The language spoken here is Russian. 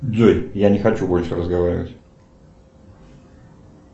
джой я не хочу больше разговаривать